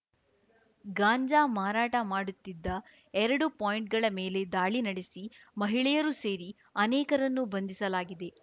ಗಾಂಜಾ ಮಾರಾಟ ಮಾಡುತ್ತಿದ್ದ ಎರಡು ಪಾಯಿಂಟ್‌ಗಳ ಮೇಲೆ ದಾಳಿ ನಡೆಸಿ ಮಹಿಳೆಯರೂ ಸೇರಿ ಅನೇಕರನ್ನು ಬಂಧಿಸಲಾಗಿದೆ